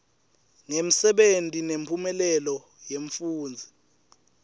ngemsebenti nemphumelelo yemfundzi